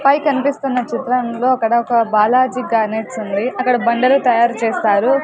పై కన్పిస్తున్న చిత్రంలో అక్కడ ఒక బాలాజీ గ్రానైట్స్ ఉంది అక్కడ బండలు తయారు చేస్తారు.